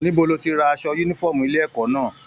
Níbo lo tí rà aṣọ yúnífọ̀ọ́mù ilé ẹ̀kọ́ náà?